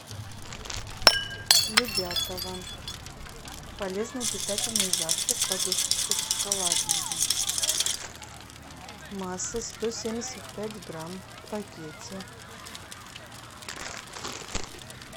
любятово полезный питательный завтрак подушечки шоколадные масса сто семьдесят пять грамм в пакете